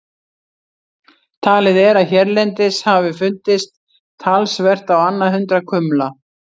Talið er að hérlendis hafi fundist talsvert á annað hundrað kumla.